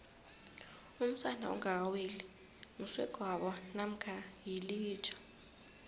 umsana ongaka weli msegwabo mamkha yilija